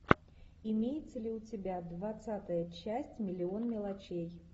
имеется ли у тебя двадцатая часть миллион мелочей